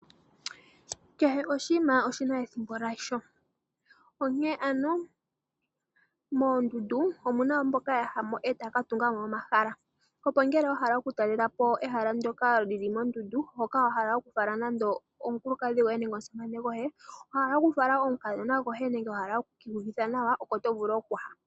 Kehe oshinima oshi na ethimbo lyasho. Onkene ano moondundu omu na mboka ya ya mo e taya ka tunga mo omahala, opo ngele wa hala okutalela po omahala ndyoka li li mondundu hoka wa hala okufala nando omukulukadhi goye nenge omusamane goye, wa hala okufala omukadhona nenge wa hala oku ka iyuvitha nawa oko to vulu okuya.